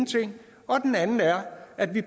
at det